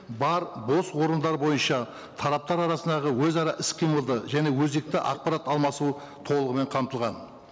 бар бос орындар бойынша тараптар арасындағы өзара іс қимылды және өзекті ақпарат алмасуы толығымен қамтылған